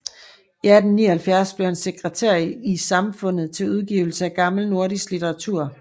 I 1879 blev han sekretær i Samfundet til Udgivelse af gammel nordisk Litteratur